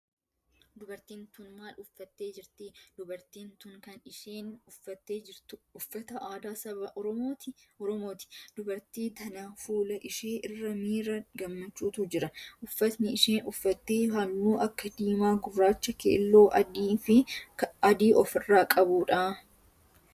Dubartiin tun maal uffattee jirtii? Dubartiin tun kan isheen uffattee jirtu uffata aadaa saba oromooti. Dubartii tana fuula ishee irra miira gammachuutu jira. Uffanni isheen uffatte halluu akka diimaa, gurraacha, keelloo, adii of irraa qabudha.